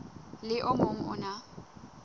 le o mong o na